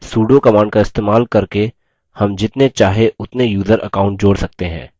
sudo command का इस्तेमाल करके हम जितने चाहे उतने यूज़र account जोड़ सकते हैं